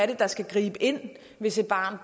der skal gribe ind hvis et barn